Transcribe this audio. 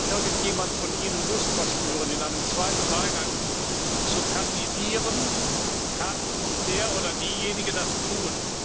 Sollte also irgendjemand von Ihnen Lust verspüren, in einem zweiten Wahlgang zu kandidieren, kann der oder diejenige das tun.